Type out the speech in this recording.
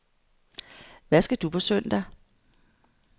Hvad skal du på søndag?